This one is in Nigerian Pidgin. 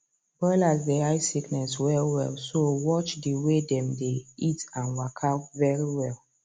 broilers dey hide sickness well wellso watch the way dem dey eat an walka very well